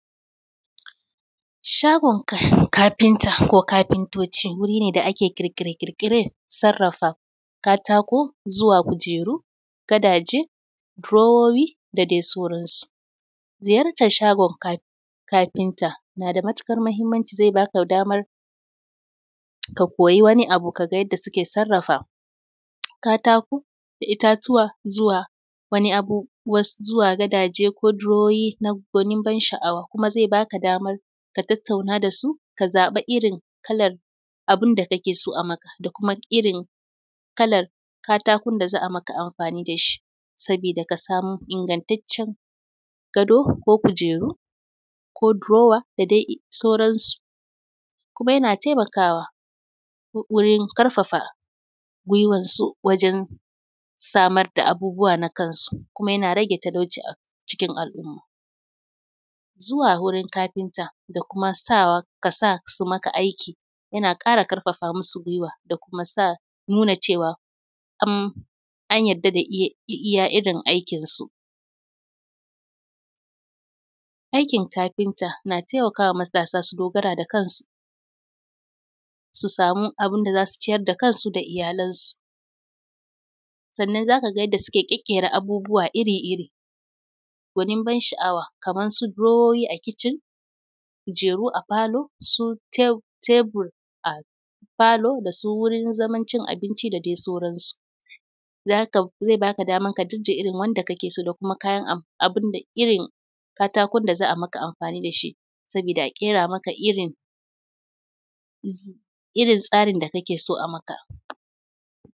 Shagin kafinta ko kafintoci wuri ne da ake kirƙire-ƙirƙire na sarrafa katako zuwa kujeru gadaje drower da dai sauransu. Ziyartar shagon kafinta na da matukar muhimmanci zai ba ka damar ka koyi wani abu yadda suke sarrafa katako da itatuwa zuwa wani abu ko gadaje diriwoyi gunin ban sha awa. Kuma zai ba ka damar ka tattana da su, ka zaɓa irin kalar abun da ka kake so a yi maka da kuma kalar katakon za a yi maka amfani da shi, saboda ka samu ingantaccen gado ko kujeru ko drower da sauransu. Kuma yana taimakawa wurin karfafa guiwarsu wajen samar da abubuwan kan su, kuma yana rage talauci a cikin al'umma. Zuwa wurin kafinta da kuma sawa ka sa su maka aikin yana sa ka ƙarfafa musu guiwa da kuma nuba cewa an yarda da iya irin aikin su. Aikin kaafinta na taimakawa ka dogara da kanaka su sama abun da za su citar da kansu da iyalansu, sannan za ka ga yadda muke kyaƙƙera gunin ban sha'awa kamar drowers a kitchen kujeru a falo su tebir a falo wajen cin abinci dadai sauransu, zai b ka damar da irn wanda kaake so kayan irin katakon da kake son an yi maka amfani da shi irin tsarin da kake so a yi maka.